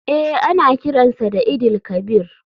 Eh ana kiran sa eid il kabir.